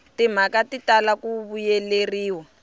timhaka ti tala ku vuyeleriwa